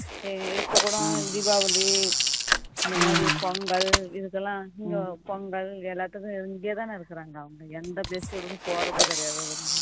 இப்போ கூட தீபாவளி இந்த மாதிரி பொங்கல் இதுக்கெல்லாம் பொங்கல் எல்லாத்துக்கும் இங்கே தானே இருக்கிறாங்க எந்த festival க்கும் போறதே கிடையாது